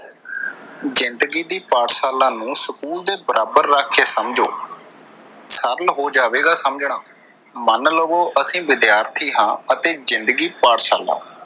ਜ਼ਿੰਦਗੀ ਦੀ ਪਾਠਸ਼ਾਲਾ ਨੂੰ ਸਕੂਲ ਦੇ ਬਰਾਬਰ ਰੱਖਕੇ ਸਮਝੋ। ਸਰਲ ਹੋ ਜਾਵੇਗਾ ਸਮਝਣਾ, ਮੰਨ ਲਵੋ ਅਸੀਂ ਵਿਦਿਆਰਥੀ ਹਾਂ ਅਤੇ ਜਿੰਦਗੀ ਪਾਠਸ਼ਾਲਾ।